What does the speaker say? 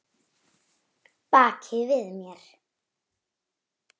Baki við mér?